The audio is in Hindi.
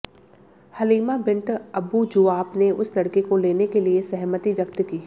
हलिमा बिंट अबू ज़ुआब ने उस लड़के को लेने के लिए सहमति व्यक्त की